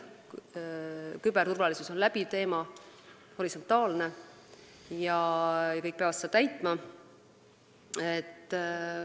Küberturvalisus on läbiv teema, see on horisontaalne ja kõik peavad seda täitma.